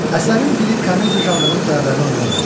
Əsərin dili komediya janrının tələblərinə uyğundur.